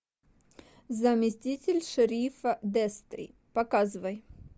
заместитель шерифа дестри показывай